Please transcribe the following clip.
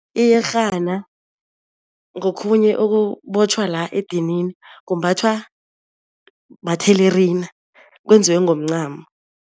Iyerhana ngokhunye okubotjhwa la edinini kumbathwa mathelerina kwenziwe ngomncamo.